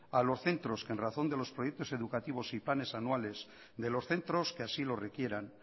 a los centros que en razón de los proyectos educativos y planes anuales de los centros que así lo requieran